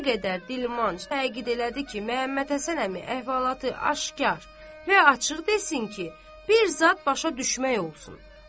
Nə qədər dilmanc təkid elədi ki, Məhəmməd Həsən əmi əhvalatı aşkar və açıq desin ki, bir zad başa düşmək olsun.